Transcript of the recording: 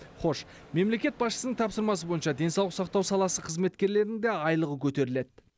хош мемлекет басшысының тапсырмасы бойынша денсаулық сақтау саласы қызметкерлерінің де айлығы көтеріледі